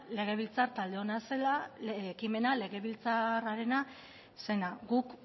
legebiltzar talde ona zela ekimena legebiltzarrarena zena guk